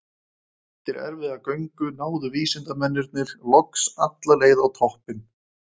Eftir erfiða göngu náðu vísindamennirnir loks alla leið á toppinn.